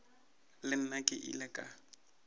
le nna ke ile ka